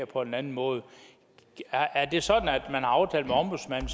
på en anden måde er det sådan at man har aftalt med ombudsmanden